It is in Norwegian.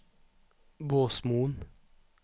Båsmoen